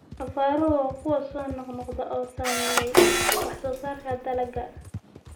Abaaruhu waa kuwo soo noqnoqda oo saameeyay wax-soo-saarka dalagga.